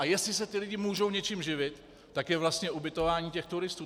A jestli se ti lidi můžou něčím živit, tak je vlastně ubytování těch turistů.